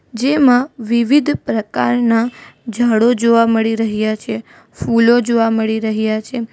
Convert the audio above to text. જેમાં વિવિધ પ્રકારના ઝાડો જોવા મળી રહ્યા છે ફૂલો જોવા મળી રહ્યા છે.